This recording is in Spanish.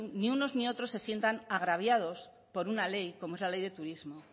ni unos ni otros se sientan agraviados por una ley como es la ley de turismo